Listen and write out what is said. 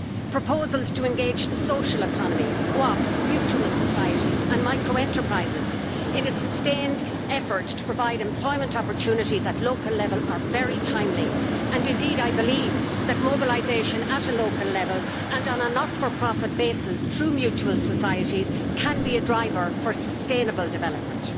Proposals to engage the social economy, cooperatives, mutual societies and micro enterprises in a sustained effort to provide employment opportunities at local level are very timely and, indeed, I believe that mobilisation at local level and on a not for profit basis, through mutual societies, can be a driver for sustainable development.